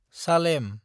Salem